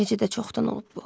Necə də çoxdan olub bu?